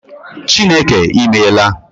Chineke I meela